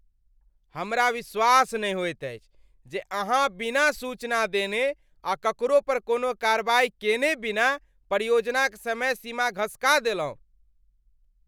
हमरा विश्वास नहि होइत अछि जे अहाँ बिना सूचना देने आ ककरो पर कोनो कार्रवाई केने बिना परियोजनाक समय सीमा घसका देलहुँ।